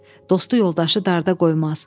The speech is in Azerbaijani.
Dostu yoldaşı darda qoymaz.